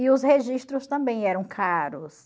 E os registros também eram caros.